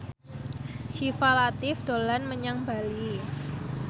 Syifa Latief dolan menyang Bali